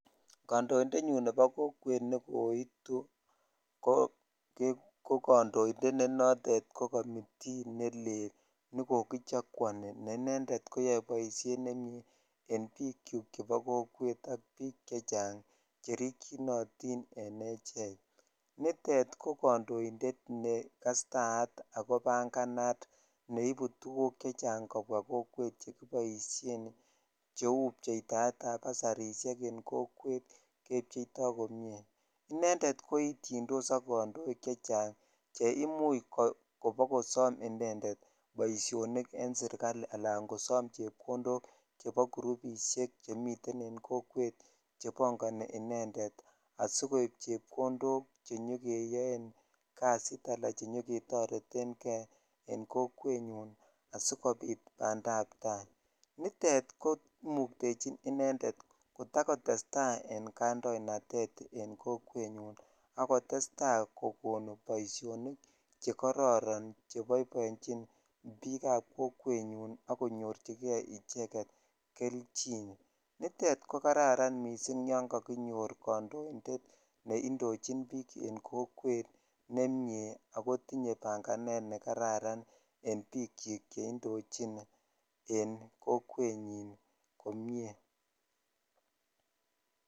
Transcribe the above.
Kandoindet nyun nebo kokwet ne koitu ne kandoindet ne notet ne komitii nelel ne kokichakuoni ne inended koyoe boisioni nemie en bik chuk chebo kokwet ak chechang cherikyinotin en echek nitet ki kandoindet ne kastayat ako banganat neibu tuguk chechang kobwa kokwet che kiboishen cheu bchetaet basarishek en kokwet kebcheito komie inended koityindos ak ne imuch kobakosom inended baidhonik en sirikali ala kosom chopkondok chebo kirubishek chemiten en kokwet chebongoni inended asikoib chepkondok che nyokeyon jasit ala chenyo ketoreten kei en kokwet nyun asikobit bandaptai nitet komuktechin inended kotakotestai en kaindoinatet en kokwet nyun ak kotetai kokon boishonik chekororon cheboiboichin bik ab kokwet nyun ak konyorchikei icheget kelchin nitet ko kararan missing ysn kakinyor kandoindet ne indochin bik en kokwet nemie akotinye banganet ne kararan en bikchik che indichin en kokwet nyin komie.